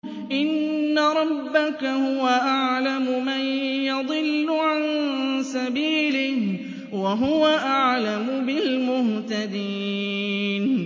إِنَّ رَبَّكَ هُوَ أَعْلَمُ مَن يَضِلُّ عَن سَبِيلِهِ ۖ وَهُوَ أَعْلَمُ بِالْمُهْتَدِينَ